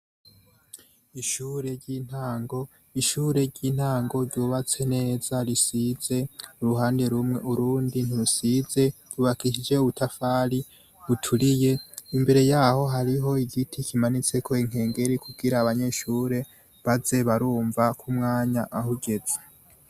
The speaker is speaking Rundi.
Ishure ry'intango, ryubatswe neza risize uruhande rumwe urindi ntirusize, ryubakishije ubutafari buturiye, imbere yaho hariho igiti kimanitseko inkengeri kugira abanyeshure baze barumva k'umwanya ahugeze.